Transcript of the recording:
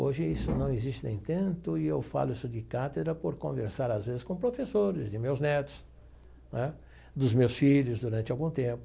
Hoje isso não existe nem tanto e eu falo isso de cátedra por conversar às vezes com professores de meus netos né, dos meus filhos durante algum tempo.